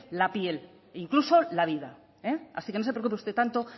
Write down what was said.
la piel e incluso la vida así que no se preocupe tanto